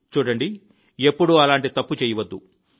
చూడండి ఎప్పుడూ అలాంటి తప్పు చేయవద్దు